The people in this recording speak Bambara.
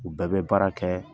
U bɛɛ bɛ baara kɛ